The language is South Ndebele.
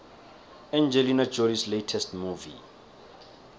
angelina jolies latest movie